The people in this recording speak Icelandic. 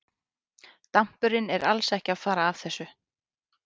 Dampurinn er alls ekki að fara af þessu.